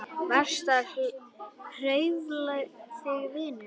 Varstu að hrufla þig vinur?